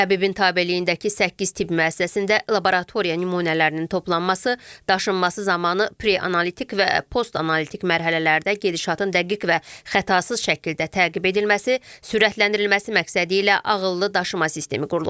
Təbibin tabeliyindəki səkkiz tibb müəssisəsində laboratoriya nümunələrinin toplanması, daşınması zamanı preanalitik və postanalitik mərhələlərdə gedişatın dəqiq və xətasız şəkildə təqib edilməsi, sürətləndirilməsi məqsədi ilə ağıllı daşıma sistemi qurulub.